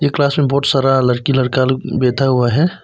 ये क्लास में बहुत सारा लड़की लड़का लोग बैठा हुआ है।